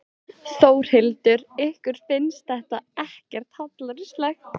Þórhildur: Ykkur finnst þetta ekkert hallærislegt?